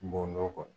N bo kɔnɔ